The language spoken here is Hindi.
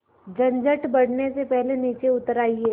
झंझट बढ़ने से पहले नीचे उतर आइए